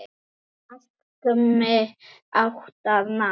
Settu marki átti að ná.